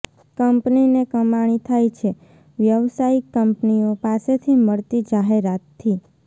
કંપનીને કમાણી થાય છે વ્યવસાયિક કંપનીઓ પાસેથી મળતી જાહેરાતથી